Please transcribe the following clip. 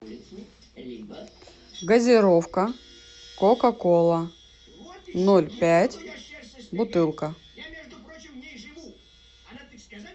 газировка кока кола ноль пять бутылка